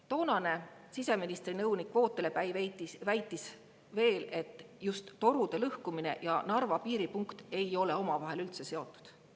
Toonane siseministri nõunik Vootele Päi väitis veel, et torude lõhkumine ja Narva piiripunkt ei ole omavahel üldse seotud.